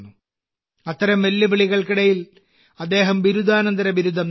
അത്തരം വെല്ലുവിളികൾക്കിടയിൽ അദ്ദേഹം ബിരുദാനന്തര ബിരുദം നേടി